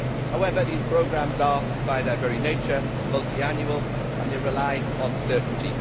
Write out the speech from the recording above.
However, these programmes are, by their very nature, multiannual and they rely on certainty.